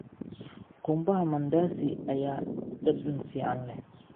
Qumbaha Mandasi ayaa dhadhan fiican leh.